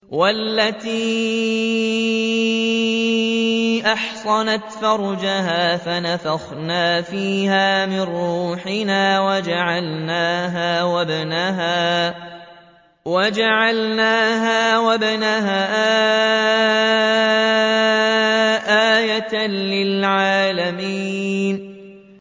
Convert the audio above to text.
وَالَّتِي أَحْصَنَتْ فَرْجَهَا فَنَفَخْنَا فِيهَا مِن رُّوحِنَا وَجَعَلْنَاهَا وَابْنَهَا آيَةً لِّلْعَالَمِينَ